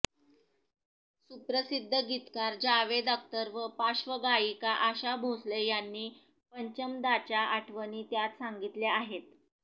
सुप्रसिद्ध गीतकार जावेद अख्तर व पार्श्वगायिका आशा भोसले यांनी पंचमदांच्या आठवणी त्यात सांगितल्या आहेत